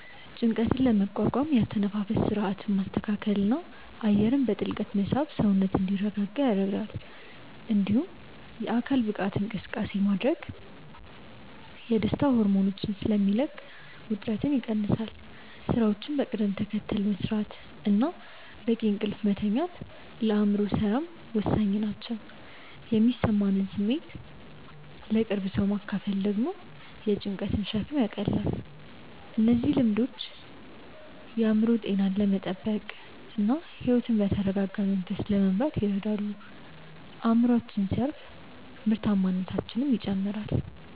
ጭንቀትን ለመቋቋም የአተነፋፈስ ሥርዓትን ማስተካከልና አየርን በጥልቀት መሳብ ሰውነት እንዲረጋጋ ይረዳል። እንዲሁም የአካል ብቃት እንቅስቃሴ ማድረግ የደስታ ሆርሞኖችን ስለሚለቅ ውጥረትን ይቀንሳል። ሥራዎችን በቅደም ተከተል መሥራትና በቂ እንቅልፍ መተኛት ለአእምሮ ሰላም ወሳኝ ናቸው። የሚሰማንን ስሜት ለቅርብ ሰው ማካፈል ደግሞ የጭንቀትን ሸክም ያቃልላል። እነዚህ ቀላል ልምዶች የአእምሮ ጤናን ለመጠበቅና ሕይወትን በተረጋጋ መንፈስ ለመምራት ይረዳሉ። አእምሮአችን ሲያርፍ ምርታማነታችንም ይጨምራል።